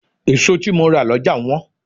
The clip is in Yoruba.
Èso tí mo rà lọ́jà wọ́n.